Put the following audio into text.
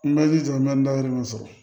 N bɛ ji jɔ n bɛ dayɛlɛ mun sɔrɔ